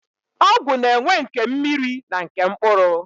Ọgwụ na-enwe nke mmiri na nke mkpụrụ.